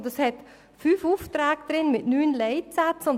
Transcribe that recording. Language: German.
Sie enthält fünf Aufträge mit neun Leitsätzen.